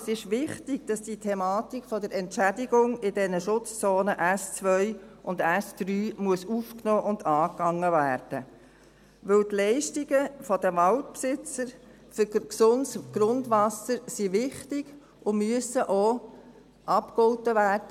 Es ist wichtig, dass die Thematik der Entschädigung in den Schutzzonen S2 und S3 aufgenommen und angegangen werden muss, denn die Leistungen der Waldbesitzer für gesundes Grundwasser sind wichtig und müssen auch abgegolten werden.